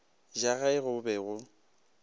ja ge go be go